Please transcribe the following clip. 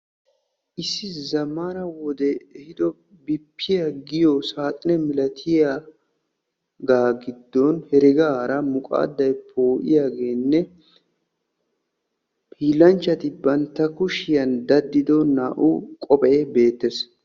Issi zammaana wodee ehiido bippiya giyo saaxine milatiyaga gidon heregaara muqaadday poo'iyageenne hiillanchchati bantta kushiyan daddido naa"u qophee beettes.